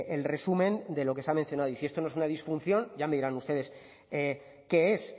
el resumen de lo que se ha mencionado y si esto no es una disfunción ya me dirán ustedes qué es